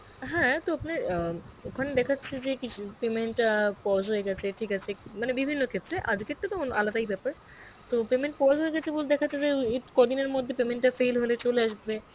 হ্যাঁ তো আপনার অ্যাঁ ওখানে দেখাচ্ছে যে কিছু payment অ্যাঁ pause হয়ে গেছে ঠিক আছে মানে বিভিন্ন ক্ষেত্রে আজকের তো অন~ আলাদাই বেপার, তো payment pause হয়ে গেছে দেখাচ্ছে যে কদিনের মধ্যে payment টা fail হলে চলে আসবে